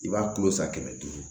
I b'a kulo san kɛmɛ duuru